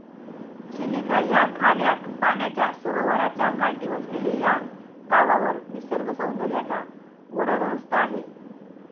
चिलिका या खाऱ्या पाण्याच्या सरोवराच्या काठी वसलेले या गावावर निसर्गसौदर्याचा वरदहस्त आहे.